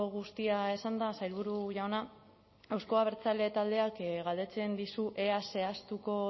guztia esanda sailburu jauna euzko abertzale taldeak galdetzen dizu ea zehaztuko